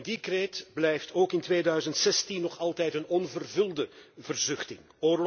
Die kreet blijft ook in 2016 nog altijd een onvervulde verzuchting.